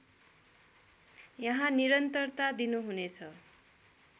यहाँ निरन्तरता दिनुहुनेछ